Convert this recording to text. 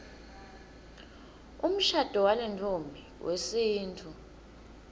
umshado walentfombi wesintfu